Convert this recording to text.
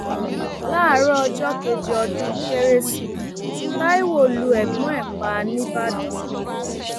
láàárọ ọjọ kejì ọdún kérésì taiwo lu ẹgbọn ẹ pa nìbàdàn